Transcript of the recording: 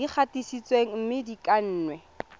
di gatisitsweng mme di kannwe